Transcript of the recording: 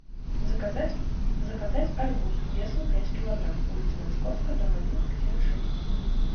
заказать заказать арбуз весом пять килограмм улица московская дом один квартира шесть